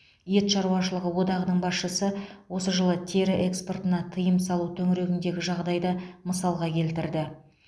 ет шаруашылығы одағының басшысы осы жылы тері экспортына тыйым салу төңірегіндегі жағдайды мысалға келтірді